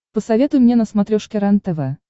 посоветуй мне на смотрешке рентв